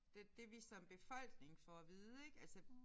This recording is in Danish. Det det vi som befolkning får at vide ik altså